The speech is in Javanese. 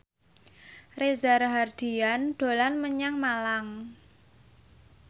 Reza Rahardian dolan menyang Malang